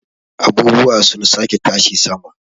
abubuwa sun sake tashi sama